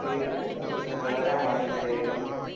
சொல்லி தந்துருவாரு என் மண்டையில ஏறிரும்